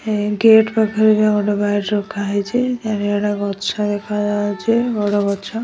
ଏ gate ପାଖରେ bike ରଖାହେଇଚି ଚାରିଆଡେ ଗଛ ଦେଖାଯାଉଚି ବଡ଼ ଗଛ।